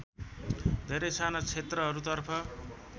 धेरै साना क्षेत्रहरूतर्फ